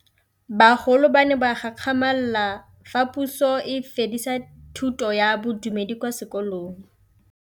Bagolo ba ne ba gakgamala fa Pusô e fedisa thutô ya Bodumedi kwa dikolong.